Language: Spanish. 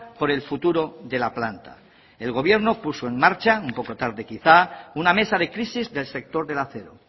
por el futuro de la planta el gobierno puso en marcha un poco tarde quizá una mesa de crisis del sector del acero